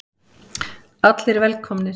Allir velkomnir.